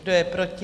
Kdo je proti?